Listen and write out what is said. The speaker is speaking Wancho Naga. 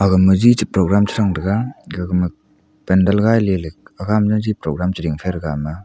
gma ji che programme chechrang tega ge gama pendant gailey aga ma jaji programme chering faima aga.